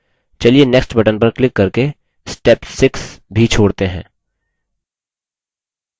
चलिए next button पर click करके step 6 भी छोड़ते हैं